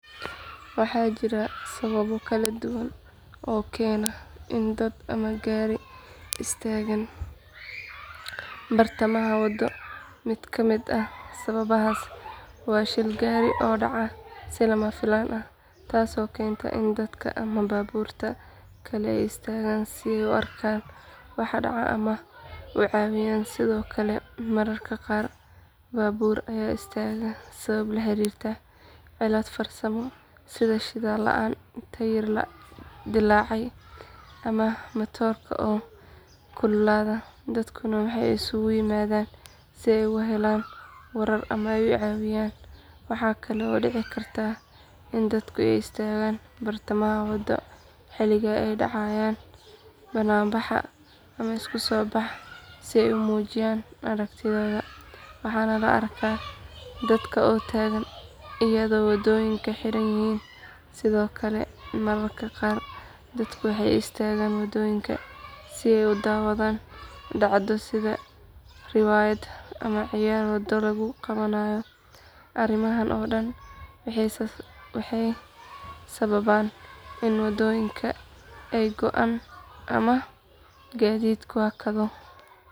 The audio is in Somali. Waxaa jira sababo kala duwan oo keena in dad ama gaari istaagaan bartamaha wado mid ka mid ah sababahaas waa shil gaari oo dhacaya si lama filaan ah taasoo keenta in dadka ama baabuurta kale ay istaagaan si ay u arkaan waxa dhacay ama u caawiyaan sidoo kale mararka qaar baabuur ayaa istaaga sabab la xiriirta cilad farsamo sida shidaal la’aan taayir dillaacay ama matoorka oo kululaada dadkuna waxay isugu yimaadaan si ay uga helaan warar ama ay u caawiyaan waxaa kale oo dhici karta in dadku is taagaan bartamaha wado xilliga ay dhacayaan bannaanbax ama isu soo bax si ay u muujiyaan aragtidooda waxaana la arkaa dadka oo taagan iyadoo wadooyinku xiran yihiin sidoo kale mararka qaar dadku waxay istaagaan wadooyinka si ay u daawadaan dhacdo sida riwaayad ama ciyaar waddo lagu qabanayo arrimahan oo dhan waxay sababaan in wadooyinka ay go’aan ama gaadiidku hakado.